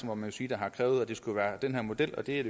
må man sige der har krævet at det skulle være den her model og det er